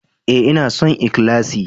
Ee, ina son ikhlasi.